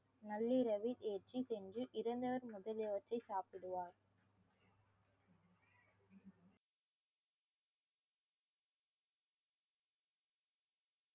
நள்ளிரவில் ஏற்றி சென்று இறந்தவர் முதலியவற்றை சாப்பிடுவார்